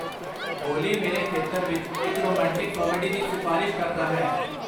ਓਲੀ ਮੇਰੇ ਖੇਤਰ ਵਿੱਚ ਇੱਕ ਰੋਮਾਂਟਿਕ ਕਾਮੇਡੀ ਦੀ ਸਿਫਾਰਸ਼ ਕਰਦਾ ਹੈ